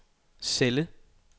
celle